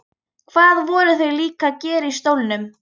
Hvað voru þau líka að gera í stólnum?